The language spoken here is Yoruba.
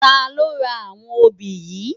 Tà ló rá áwòn óbi yi?